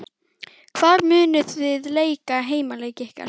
Hvar munuð þið leika heimaleiki ykkar?